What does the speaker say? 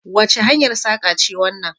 Wace hanyar saƙa ce wannan?